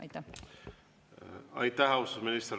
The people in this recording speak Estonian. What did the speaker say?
Aitäh, austatud minister!